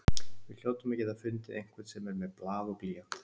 Við hljótum að geta fundið einhvern sem er með blað og blýant.